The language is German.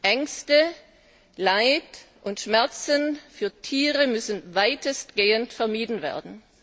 Ängste, Leid und Schmerzen für Tiere müssen weitestgehend vermieden werden.